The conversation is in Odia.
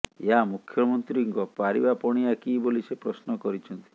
ଏହା ମୁଖ୍ୟମନ୍ତ୍ରୀଙ୍କ ପାରିବା ପଣିଆ କି ବୋଲି ସେ ପ୍ରଶ୍ନ କରିଛନ୍ତି